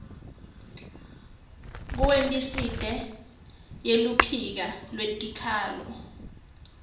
kuwebsite yeluphiko lwetikhalo